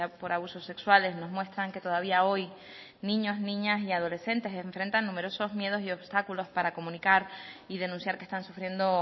por abusos sexuales nos muestran que todavía hoy niños niñas y adolescentes enfrentan numerosos miedos y obstáculos para comunicar y denunciar que están sufriendo